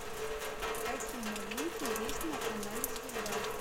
какие новинки есть на канале звезда